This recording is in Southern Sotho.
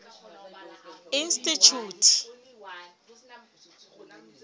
institjhute